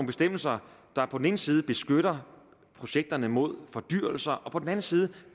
bestemmelser der på den ene side beskytter projekterne mod fordyrelse og på den anden side